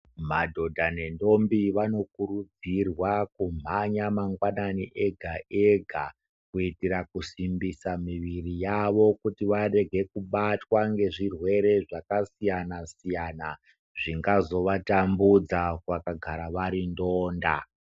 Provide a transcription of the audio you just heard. Madhodha ne ndombi vanokurudzirwa kumhanya mangwanani ega ega kuitira kasimbisa muviri yavo kuti varege kubatwa nge zvirwere zvaka siyana siyana zvinga zova tambudza vakagara vari ndonda.